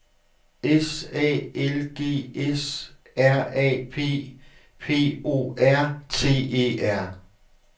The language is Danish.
S A L G S R A P P O R T E R